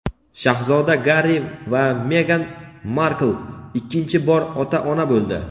Shahzoda Garri va Megan Markl ikkinchi bor ota-ona bo‘ldi.